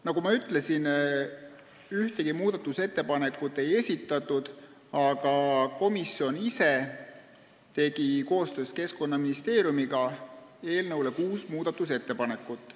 Nagu ma ütlesin, ühtegi muudatusettepanekut ei esitatud, aga komisjon ise tegi koostöös Keskkonnaministeeriumiga eelnõu kohta kuus muudatusettepanekut.